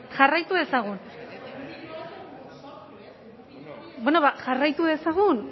jarraitu dezagun jarraitu dezagun